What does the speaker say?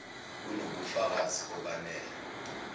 kuno bufakazi obanele